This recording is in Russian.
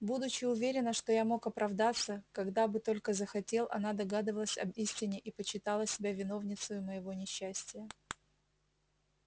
будучи уверена что я мог оправдаться когда бы только захотел она догадывалась об истине и почитала себя виновницею моего несчастия